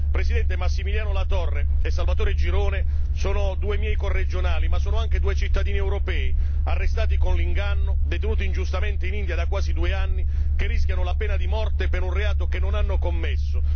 Presidente, Massimiliano Latorre e Salvatore Girone sono due miei corregionali ma sono anche due cittadini europei arrestati con l'inganno, detenuti ingiustamente in India da quasi due anni, che rischiano la pena di morte per un reato che non hanno commesso.